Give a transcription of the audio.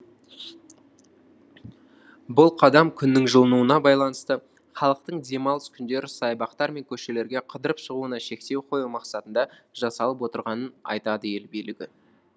бұл қадам күннің жылынуына байланысты халықтың демалыс күндері саябақтар мен көшелерге қыдырып шығуына шектеу қою мақсатында жасалып отырғанын айтады ел билігі